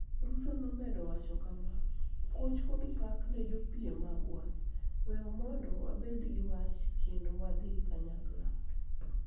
Ruto nomedo wacho kama: Puoch kod pak ne jopiem magwa, we mondo wabed gi wach kendo wadhi kanyakla.